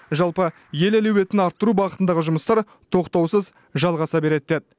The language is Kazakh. жалпы ел әлеуетін арттыру бағытындағы жұмыстар тоқтаусыз жалғаса береді деді